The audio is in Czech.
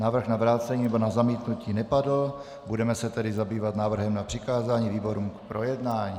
Návrh na vrácení nebo na zamítnutí nepadl, budeme se tedy zabývat návrhem na přikázání výborům k projednání.